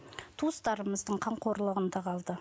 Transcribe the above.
туыстарымыздың қамқорлығында қалды